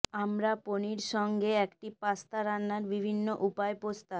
আমরা পনির সঙ্গে একটি পাস্তা রান্নার বিভিন্ন উপায় প্রস্তাব